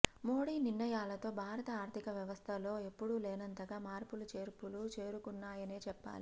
మోడీ నిర్ణయాలతో భారత ఆర్థిక వ్యవస్థలో ఎప్పుడు లేనంతగా మార్పులు చేర్పులు చేసుకున్నాయనే చెప్పాలి